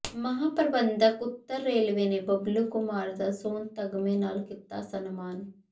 ਮਹਾਂ ਪ੍ਰਬੰਧਕ ਉੱਤਰ ਰੇਲਵੇ ਨੇ ਬਬਲੂ ਕੁਮਾਰ ਦਾ ਸੋਨ ਤਗ਼ਮੇ ਨਾਲ ਕੀਤਾ ਸਨਮਾਨ